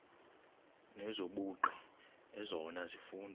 nezobugqi ezona zifundo